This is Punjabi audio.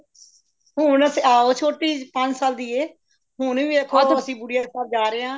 ਹੁਣ ਆਓ ਛੋਟੀ ਜੀ ਪੰਜ ਸਾਲ ਦੀ ਏ ਹੁਣ ਵੀ ਵੇਖੋ ਆਂ ਤੁਸੀਂ ਗੁਡੀਆ ਦੇ ਘਰ ਜਾ ਰਹੇ ਹਾਂ